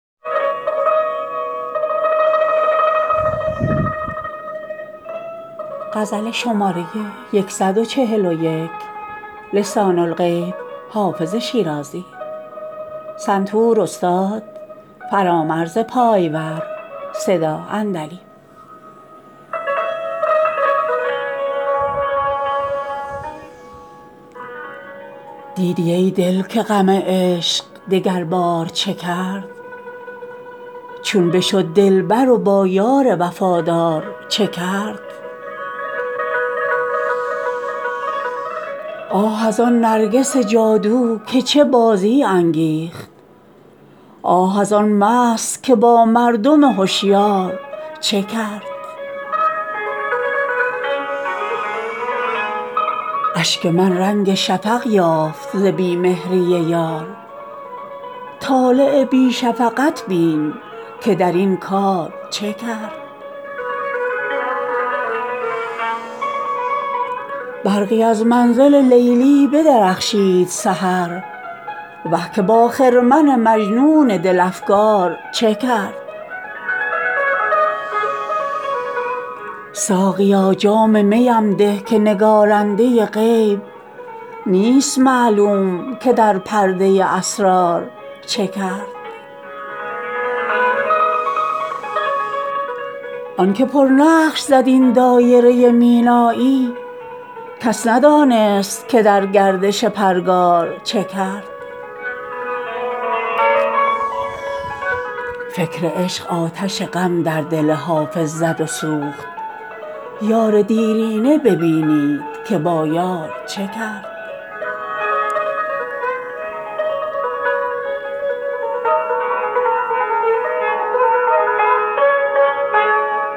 دیدی ای دل که غم عشق دگربار چه کرد چون بشد دلبر و با یار وفادار چه کرد آه از آن نرگس جادو که چه بازی انگیخت آه از آن مست که با مردم هشیار چه کرد اشک من رنگ شفق یافت ز بی مهری یار طالع بی شفقت بین که در این کار چه کرد برقی از منزل لیلی بدرخشید سحر وه که با خرمن مجنون دل افگار چه کرد ساقیا جام می ام ده که نگارنده غیب نیست معلوم که در پرده اسرار چه کرد آن که پرنقش زد این دایره مینایی کس ندانست که در گردش پرگار چه کرد فکر عشق آتش غم در دل حافظ زد و سوخت یار دیرینه ببینید که با یار چه کرد